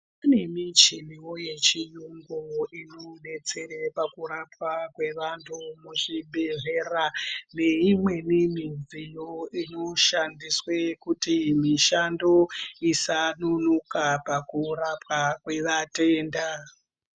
Kune michiniwo yechiyungu inobetsere pakurapwa kweantu muzvibhehlera neimweni midziyo inoshandiswe kuti mishando isanonoka pakurapwa kwevatenda.